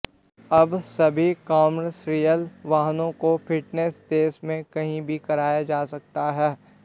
अब सभी कॉमर्शियल वाहनों का फिटनेस देश में कहीं भी कराया जा सकता है